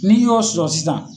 Ni y'o sɔrɔ sisan.